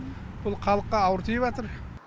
бұл халыққа ауыр тиіватыр